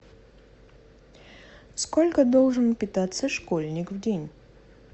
сколько должен питаться школьник в день